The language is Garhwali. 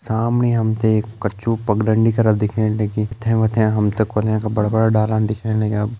सामणे हम त एक कच्चू पग डंडी कर दिखेण लगीं यथे वथे हम त कोलयें का बड़ा बड़ा डाला दिखेण लग्यां।